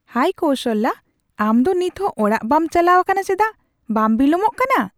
ᱦᱟᱭ ᱠᱳᱥᱟᱞᱭᱟ, ᱟᱢ ᱫᱚ ᱱᱤᱛᱦᱚᱸ ᱚᱲᱟᱜ ᱵᱟᱢ ᱪᱟᱞᱟᱣ ᱟᱠᱟᱱᱟ ᱪᱮᱫᱟᱜ ? ᱵᱟᱢ ᱵᱤᱞᱚᱢᱚᱜ ᱠᱟᱱᱟ ?